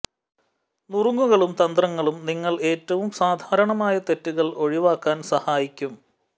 നുറുങ്ങുകളും തന്ത്രങ്ങളും നിങ്ങൾ ഏറ്റവും സാധാരണമായ തെറ്റുകൾ ഒഴിവാക്കാൻ സഹായിക്കും